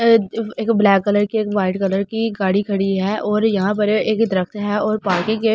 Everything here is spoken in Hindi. ये एक ब्लैक कलर एक व्हाइट कलर की गाड़ी खड़ी है और यहां पर एक तरफ से है और बाकी के--